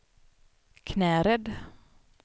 Knäred